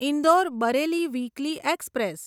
Indore Bareilly weekly express